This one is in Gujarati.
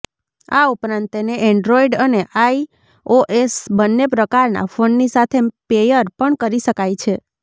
આ ઉપરાંત તેને એન્ડ્રોઇડ અને આઇઓએસ બંને પ્રકારના ફોનની સાથે પેયર પણ કરી શકાય છે